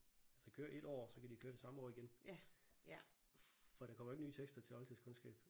Så køre et år og så kan de køre det samme år igen. For der kommer ikke nye tekster til oldtidskundskab